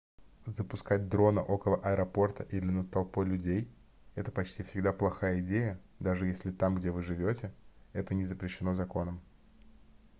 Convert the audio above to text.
запускать дрона около аэропорта или над толпой людей это почти всегда плохая идея даже если там где вы живете это не запрещено законом